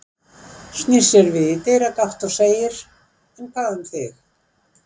Snýr sér við í dyragátt og segir: En hvað um þig?